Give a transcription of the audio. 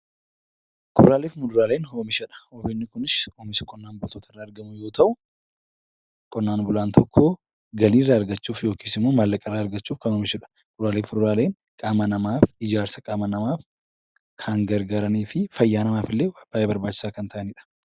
Kuduraalaaf muduraaleen oomisha dha. Oomishni kunis oomisha qonnaan bultoota irraa argamu yoo ta'u, qonnaan bulaan tokko galii irraa argachuuf yookiis immoo maallaqa irraa argachuuf kan oomishu dha. Kuduraaleef muduraaleen qaama namaaf, ijaarsa qaama namaaf kan gargaaranii fi fayyaa namaaf illee baay'ee barbaachisaa kan ta'ani dha.